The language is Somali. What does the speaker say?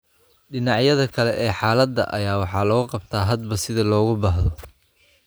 Dhinacyada kale ee xaalada ayaa wax looga qabtaa hadba sida loogu baahdo.